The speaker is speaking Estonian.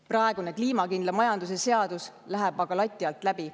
Praegune kliimakindla majanduse seadus läheb aga lati alt läbi.